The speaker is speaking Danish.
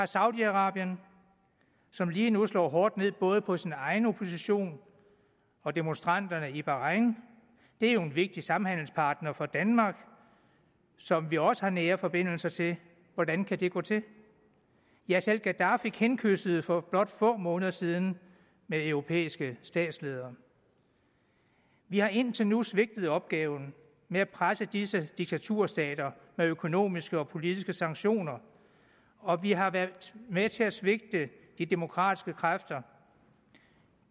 saudi arabien som lige nu slår hårdt ned både på sin egen opposition og demonstranterne i bahrain er jo en vigtig samhandelspartner for danmark som vi også har nære forbindelser til hvordan kan det gå til ja selv gaddafi kindkyssede for blot få måneder siden med europæiske statsledere vi har indtil nu svigtet opgaven med at presse disse diktaturstater med økonomiske og politiske sanktioner og vi har været med til at svigte de demokratiske kræfter